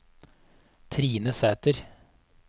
Trine Sæther